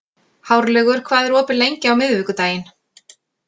Hárlaugur, hvað er opið lengi á miðvikudaginn?